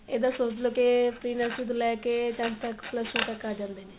ਇੱਦਾ ਸੋਚ ਲੋ ਕੀ pre nursery ਤੋਂ ਲਈ ਕੇ tenth ਤੱਕ plus two ਤੱਕ ਆ ਜਾਂਦੇ ਨੇ